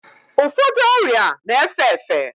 Ụfọdụ ọrịa na-efe efe